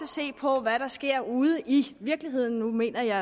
se på hvad der sker ude i virkeligheden nu mener jeg